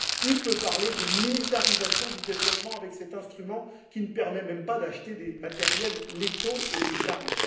Qui peut parler de militarisation du développement avec cet instrument qui ne permet même pas d'acheter des matériels létaux et des armes?